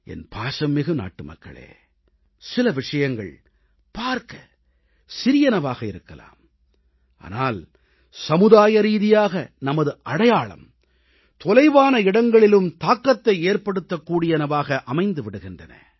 என் பாசம்மிகு நாட்டுமக்களே சில விஷயங்கள் பார்க்கச் சிறியனவாக இருக்கலாம் ஆனால் சமுதாயரீதியாக நமது அடையாளம் தொலைவான இடங்களிலும் தாக்கத்தை ஏற்படுத்தக்கூடியனவாக அமைந்து விடுகின்றன